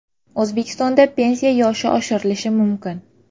O‘zbekistonda pensiya yoshi oshirilishi mumkin.